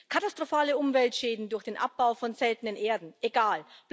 Katastrophale Umweltschäden durch den Abbau von seltenen Erden egal.